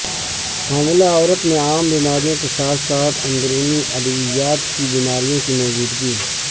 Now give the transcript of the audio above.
حاملہ عورت میں عام بیماریوں کے ساتھ ساتھ اندرونی ادویات کی بیماریوں کی موجودگی